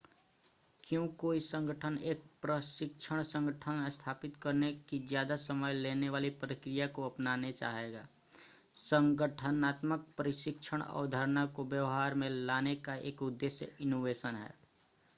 क्यों कोई संगठन एक प्रशिक्षण संगठन स्थापित करने की ज़्यादा समय लेने वाली प्रक्रिया को अपनाना चाहेगा संगठनात्मक प्रशिक्षण अवधारणा को व्यवहार में लाने का एक उद्देश्य इनोवेशन है